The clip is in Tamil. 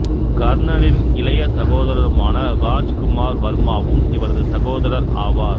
கர்னலின் இளைய சகோதரருமான ராஜ் குமார் வர்மாவும் இவரது சகோதரர் ஆவார்